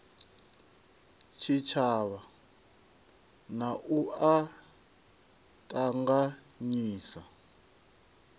tshitshavha na u a ṱanganyisa